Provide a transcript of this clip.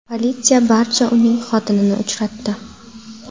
Politsiya barda uning xotinini uchratdi .